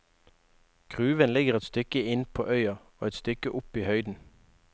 Gruven ligger et stykke inn på øya og et stykke opp i høyden.